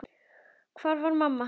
Hvar var mamma?